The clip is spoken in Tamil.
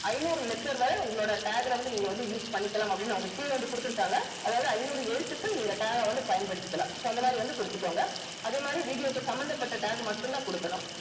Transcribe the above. ஐநூறு letter வரை உங்களோட tag ல வந்து நீங்க வந்து use பண்ணிக்கலாம் அப்படின்னு அவ்ங்க கீழ வந்து குடுத்திருக்காங்க அதாவது ஐநூறு எழுத்துக்கள் நீங்க tag ஆ வந்து பயன்படுத்திக்கலாம் so அந்த மாதிரி வந்து குடுத்துக்கோங்க அதே மாதிரி video க்கு சம்பந்தப்பட்ட tag மட்டும் தான் குடுக்கணும்